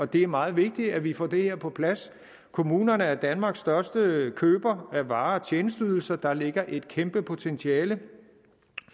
det er meget vigtigt at vi får det her på plads kommunerne er danmarks største køber af varer og tjenesteydelser der ligger et kæmpe potentiale